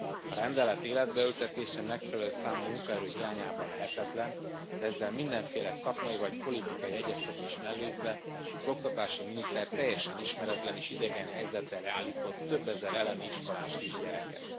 A rendelet életbe ültetése megfelelő számú munkaerő hiányában lehetetlen, de ezzel mindenféle szakmai vagy politikai egyeztetést mellőzve az oktatási miniszter teljesen ismeretlen és idegen helyzet elé állított többezer elemi iskolás kisgyereket.